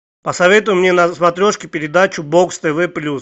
посоветуй мне на смотрешке передачу бокс тв плюс